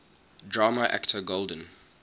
drama actor golden